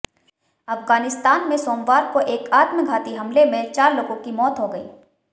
अफगानिस्तान में सोमवार को एक आत्मघाती हमले में चार लोगों की मौत हो गई